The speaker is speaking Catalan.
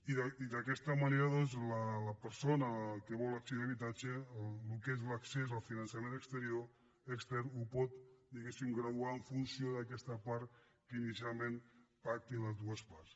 i d’aquesta manera doncs la persona que vol accedir a l’habitatge el que és l’accés al finançament exterior extern el pot diguéssim graduar en funció d’aquesta part que inicialment pactin les dues parts